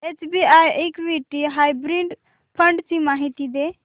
SBI equity hybrid fund ची माहिती दे